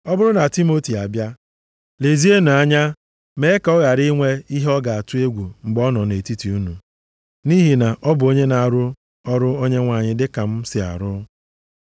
Ọ bụrụ na Timoti abịa, lezienụ anya mee ka ọ ghara inwe ihe ọ ga-atụ egwu mgbe ọ nọ nʼetiti unu, nʼihi na ọ bụ onye na-arụ ọrụ Onyenwe anyị dịka m si arụ ya.